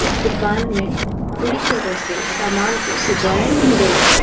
इस दुकान में पूरी तरह से सामान को सजाए नहीं गया है।